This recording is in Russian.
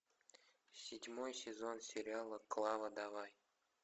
седьмой сезон сериала клава давай